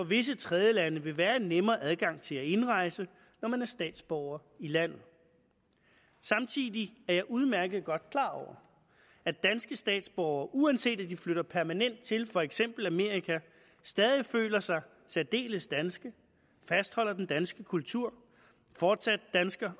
visse tredjelande vil være en nemmere adgang til at indrejse når man er statsborger i landet samtidig er jeg udmærket godt klar over at danske statsborgere uanset at de flytter permanent til for eksempel amerika stadig føler sig særdeles danske fastholder den danske kultur fortsat danser